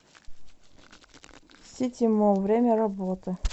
сити молл время работы